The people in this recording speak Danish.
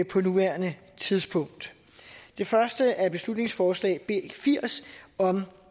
på nuværende tidspunkt det første er beslutningsforslag b firs om